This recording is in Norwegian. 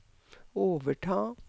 overta